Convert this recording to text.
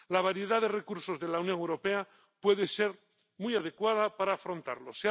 La variedad de recursos de la Unión Europea puede ser muy adecuada para afrontarlos.